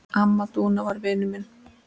Amma Dúna var vinur minn.